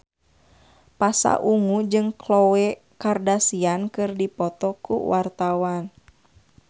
Pasha Ungu jeung Khloe Kardashian keur dipoto ku wartawan